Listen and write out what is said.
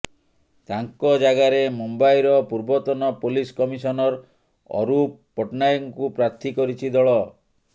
ତାଙ୍କ ଜାଗାରେ ମୁମ୍ବାଇର ପୂର୍ବତନ ପୋଲିସ କମିଶନର ଅରୂପ ପଟ୍ଟନାୟକଙ୍କୁ ପ୍ରାର୍ଥୀ କରିଛି ଦଳ